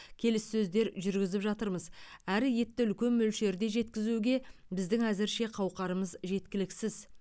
келіссөздер жүргізіп жатырмыз әрі етті үлкен мөлшерде жеткізуге біздің әзірше қауқарымыз жеткіліксіз